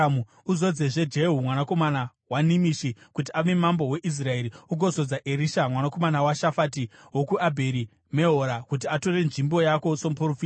Uzodzezve Jehu, mwanakomana waNimishi kuti ave mambo weIsraeri, ugozodza Erisha, mwanakomana waShafati wokuAbheri Mehora kuti atore nzvimbo yako somuprofita.